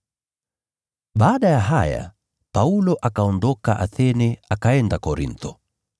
Baada ya haya, Paulo akaondoka Athene akaenda Korintho.